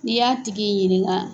N'i y'a tigi ɲininka